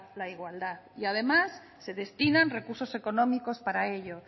la igualdad y además se destinan recursos económicos para ello